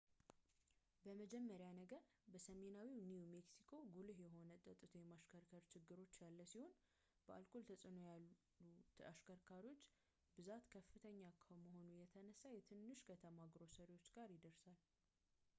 በመጀመሪያ ነገር በሰሜናዊው new mexico ጉልህ የሆነ ጠትቶ የማሽከርከር ችግሮች ያለ ሲሆን በአልኮል ተፅዕኖ ያሉ አሽከርካሪዎች ብዛት ከፍተኛ ከመሆኑ የተነሳ የትንሽ ከተማ ግሮሰሪዎች ጋር ይደርሳል